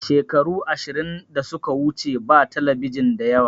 Shekaru ashirin da suka wuce ba talabijin da yawa